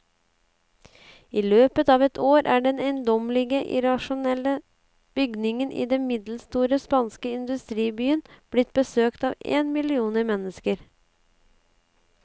I løpet av et år er den eiendommelige, irrasjonelle bygningen i den middelstore spanske industribyen blitt besøkt av en million mennesker.